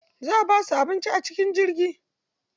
Za a basu abinci a cikin jirgi.